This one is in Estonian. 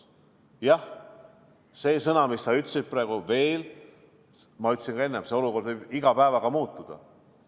Jah, sedasama, mis sa praegu ütlesid, ütlesin enne ka mina – see olukord võib iga päevaga muutuda.